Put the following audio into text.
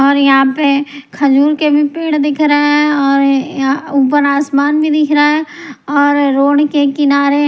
और यहां पे खजूर के भी पेड़ दिख रहे हैं और ऊपर आसमान भी दिख रहा है और रोड के किनारे।